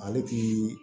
Ale ti